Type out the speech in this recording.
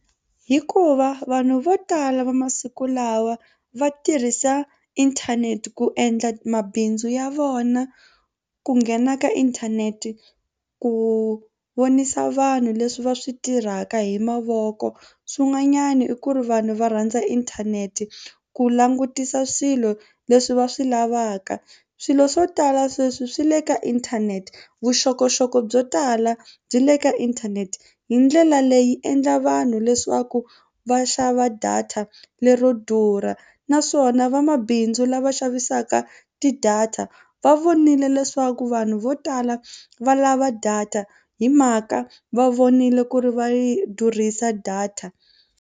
Hikuva vanhu vo tala va masiku lawa va tirhisa inthanete ku endla mabindzu ya vona ku nghena ka inthanete ku vonisa vanhu leswi va swi tirhaka hi mavoko swin'wanyana i ku ri vanhu va rhandza inthanete ku langutisa swilo leswi va swi lavaka swilo swo tala sweswi swi le ka inthanete vuxokoxoko byo tala byi le ka inthanete hi ndlela leyi endla vanhu leswaku va xava data lero durha naswona vamabindzu lava xavisaka ti-data va vonile leswaku vanhu vo tala va lava data hi mhaka va vonile ku ri va yi durhisa data.